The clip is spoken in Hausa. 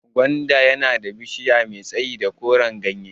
Gwanda yana da bishiya mai tsayi da koran gyanye